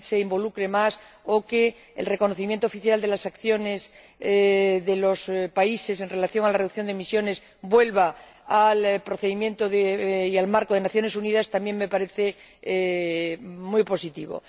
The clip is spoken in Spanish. involucre más o que el reconocimiento oficial de las acciones de los países en relación con la reducción de emisiones vuelva al procedimiento y al marco de las Naciones Unidas también me parecen muy positivos.